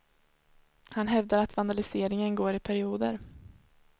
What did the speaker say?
Han hävdar att vandaliseringen går i perioder.